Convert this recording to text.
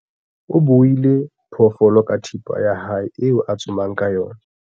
o buile phoofolo ka thipa ya hae eo a tsomang ka yona